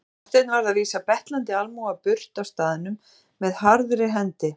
Marteinn varð að vísa betlandi almúga burt af staðnum með harðri hendi.